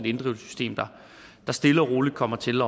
inddrivelsessystem der stille og roligt kommer til